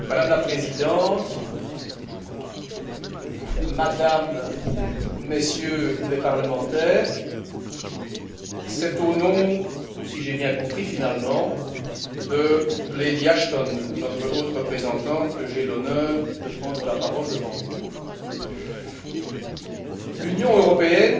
Madame la Présidente, Mesdames et Messieurs les parlementaires, c'est au nom si j'ai bien compris, finalement de Lady Ashton, notre haute représentante, que j'ai l'honneur de prendre la parole devant vous. L'Union européenne